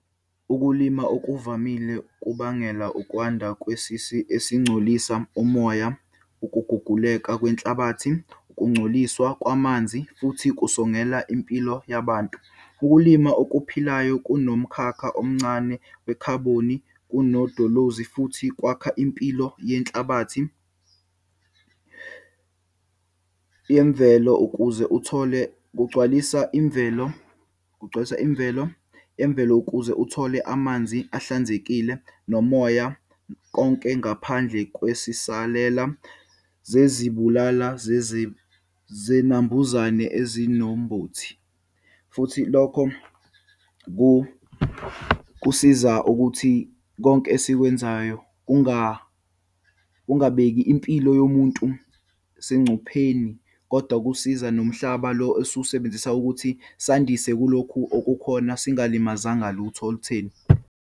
Ukulima okuvamile kubangela ukwanda kwesisi esingcolisa umoya, ukuguguleka kwenhlabathi, ukungcoliswa kwamanzi futhi kusongela impilo yabantu. Ukulima okuphilayo kunomkhakha omncane wekhaboni kunodolozi futhi kwakha impilo yenhlabathi yemvelo. Ukuze uthole kugcwalisa imvelo, kugcwalisa imvelo, emvelo kuze uthole amanzi ahlanzekile nomoya konke, ngaphandle kwesisalela zezibulala zinambuzane ezinombothi. Futhi, lokho kusiza ukuthi konke esikwenzayo kungabeki impilo yomuntu sengcupheni, kodwa kusiza nomhlaba lo esiwasebenzisa ukuthi sandise kulokhu okukhona, singalimazanga lutho olutheni.